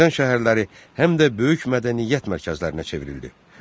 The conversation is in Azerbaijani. Azərbaycan şəhərləri həm də böyük mədəniyyət mərkəzlərinə çevrildi.